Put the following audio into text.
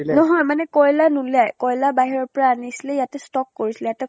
নহয় মানে কয়্লা নুলিয়াই, কয়্লা বাহিৰৰ পৰা আনিছিলে, ইয়াতে stock কৰিছিলে। ইয়াতে